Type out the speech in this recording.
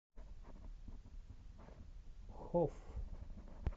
хоф